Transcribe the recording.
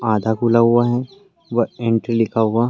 आधा खुला हुआ है। वह एंट्री